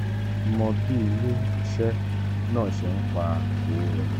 imọye itupalẹ ipilẹ ni lati mo bii okowo ṣe npa owo wole.